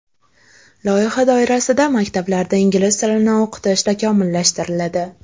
Loyiha doirasida maktablarda ingliz tilini o‘qitish takomillashtiriladi.